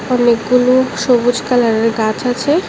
অনেকগুলো সবুজ কালারের গাছ আছে।